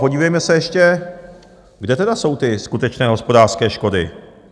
Podívejme se ještě, kde tedy jsou ty skutečné hospodářské škody.